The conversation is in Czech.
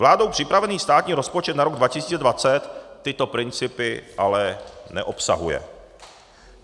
Vládou připravený státní rozpočet na rok 2020 tyto principy ale neobsahuje.